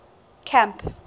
camp